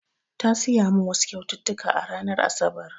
Ya siya min wasu kyaututtuka a ranar asabar